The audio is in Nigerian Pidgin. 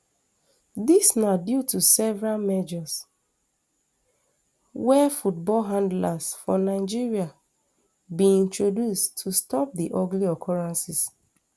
dis na due to several measures wey football handlers for nigeria bin introduce to stop di ugly occurrences